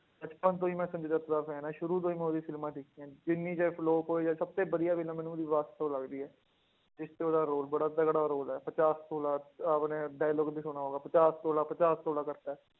ਬਚਪਨ ਤੋਂ ਹੀ ਮੈਂ ਸੰਜੇ ਦੱਤ ਦਾ fan ਹਾਂ ਸ਼ੁਰੂ ਤੋਂ ਹੀ ਮੈਂ ਉਹਦੀ ਫ਼ਿਲਮਾਂ ਦੇਖੀਆਂ, ਜਿੰਨੀ ਚਾਹੇ flop ਹੋਏ ਜਾਂ ਸਭ ਤੋਂ ਵਧੀਆ film ਮੈਨੂੰ ਉਹਦੀ ਵਾਸਤਵ ਲੱਗਦੀ ਹੈ, ਜਿਸ 'ਚ ਉਹਦਾ ਰੋਲ ਬੜਾ ਤਕੜਾ ਰੋਲ ਹੈ, ਪਚਾਸ ਤੋਲਾ, ਆਪਣੇ dialogue ਵੀ ਸੁਣਿਆ ਹੋਗਾ, ਪਚਾਸ ਤੋਲਾ ਪਚਾਸ ਤੋਲਾ ਕਰਕੇ